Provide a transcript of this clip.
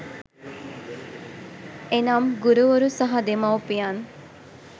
එනම් ගුරුවරු සහ දෙමව්පියන්